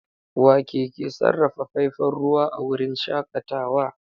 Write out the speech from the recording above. Wake ke sarrafa faifan ruwa a wurin shakatawa?